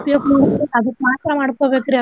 ಉಪಯೋಗ ಮಾಡ್ಬೇಕ ಅದಕ್ಕ ಮಾತ್ರಾ ಮಾಡ್ಕೊಬೇಕ್ರಿ ಅದ.